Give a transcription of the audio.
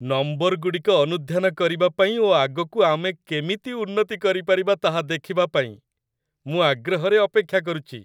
ନମ୍ବରଗୁଡ଼ିକ ଅନୁଧ୍ୟାନ କରିବାପାଇଁ ଓ ଆଗକୁ ଆମେ କେମିତି ଉନ୍ନତି କରିପାରିବା ତାହା ଦେଖିବା ପାଇଁ ମୁଁ ଆଗ୍ରହରେ ଅପେକ୍ଷା କରୁଛି।